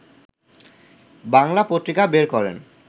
বাংলা পত্রিকা বের করেন